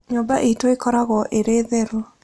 Nyũmba itũ ĩkoragwo ĩrĩ theru?